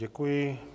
Děkuji.